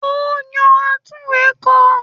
Ó yá àtunwekò